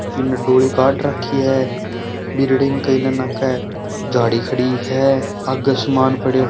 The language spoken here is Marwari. इन डोली काट रखी है बिर्डिंग कई न के झाड़ी खड़ी है आगे सामान पड़यो है।